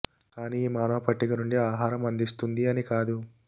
కానీ ఈ మానవ పట్టిక నుండి ఆహార అందిస్తుంది అని కాదు